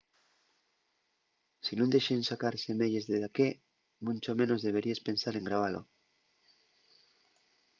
si nun dexen sacar semeyes de daqué muncho menos deberíes pensar en grabalo